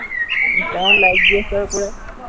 ইন্সট্ৰাগ্ৰামত like দি আছো আৰু পূৰা